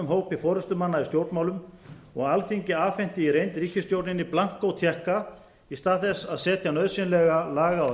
hópi forustumanna í stjórnmálum og alþingi afhenti í reynd ríkisstjórninni blankó tékka í stað þess að setja nauðsynlega laga og